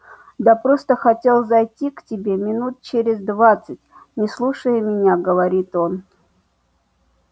да просто хотел зайти к тебе минут через двадцать не слушая меня говорит он